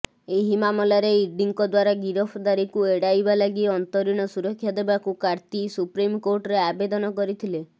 ଏହି ମାମଲାରେ ଇଡିଙ୍କ ଦ୍ୱାରା ଗିରଫଦାରୀକୁ ଏଡାଇବା ଲାଗି ଅନ୍ତରୀଣ ସୁରକ୍ଷା ଦେବାକୁ କାର୍ତ୍ତି ସୁପ୍ରିମକୋର୍ଟରେ ଆବେଦନ କରିଥିଲେ